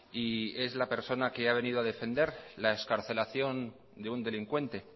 y es la persona que ha venido a defender la excarcelación de un delincuente